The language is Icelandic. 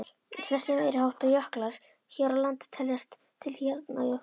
Flestir meiriháttar jöklar hér á landi teljast til hjarnjökla.